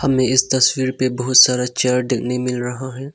हमें इस तस्वीर पे बहुत सारा चेयर देखने मिल रहा है।